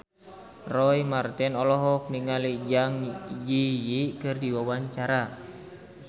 Roy Marten olohok ningali Zang Zi Yi keur diwawancara